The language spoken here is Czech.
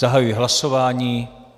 Zahajuji hlasování.